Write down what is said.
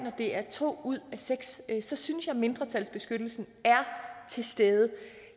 det er to ud af seks så synes jeg at mindretalsbeskyttelsen er til stede